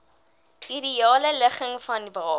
ideale ligging vanwaar